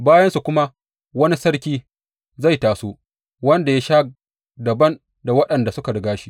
Bayansu kuma, wani sarki zai taso, wanda ya sha dabam da waɗanda suka riga shi.